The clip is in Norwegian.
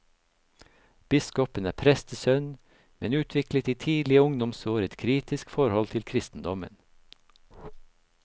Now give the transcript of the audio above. Biskopen er prestesønn, men utviklet i tidlige ungdomsår et kritisk forhold til kristendommen.